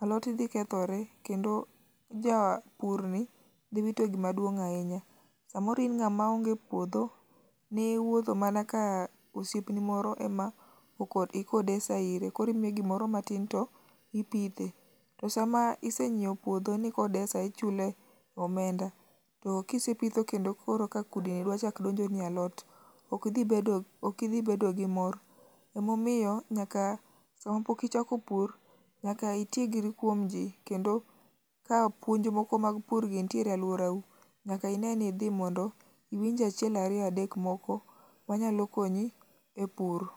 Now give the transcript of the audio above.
alot dhi kethore kendo japurni dhi wito gima duong' ahinya. Samoro in ng'ama onge puodho, ni wuotho mana ka osiepni moro ema oko ikidesa ire koro imiye gimoro matin to ipithe. To sama isenyieo puodho nikodesa ni ichule omenda, to kisepitho kendo koro ka kudni dwa chak donjo ni e alot, ok dhi bedo ok idhi bedo gi mor. Emomiyo sama pok ichako pur, nyaka itiegri kuom ji kendo ka puonj moko mag por nitiere e alworau, nyaka ine ni idhi mondo iwinj achiel ariyo adek moko ma nyalo konyi e puro.